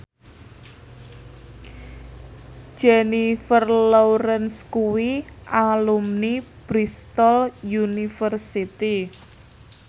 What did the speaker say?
Jennifer Lawrence kuwi alumni Bristol university